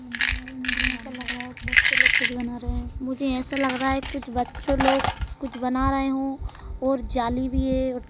मुझे ऐसा लग रहा है बच्चे लोग कुछ बना रहे है मुझे ऐसा लग रहा है कुछ बच्चों लोग कुछ बना रहे हों और जाली भी है।